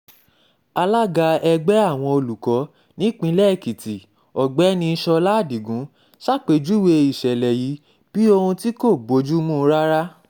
alága ẹgbẹ́ àwọn olùkọ́ nípìnlẹ̀ èkìtì ọ̀gbẹ́ni sọ́lá adigun ṣàpèjúwe ìṣẹ̀lẹ̀ yìí bíi ohun tí kò bojumu rárá